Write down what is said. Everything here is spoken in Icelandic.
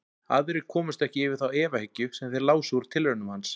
Aðrir komust ekki yfir þá efahyggju sem þeir lásu úr tilraunum hans.